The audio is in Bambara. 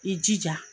I jija